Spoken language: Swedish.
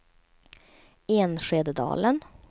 Enskededalen